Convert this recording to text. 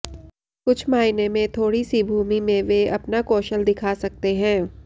कुछ मायने में थोड़ी सी भूमि में वे अपना कौशल दिखा सकते हैं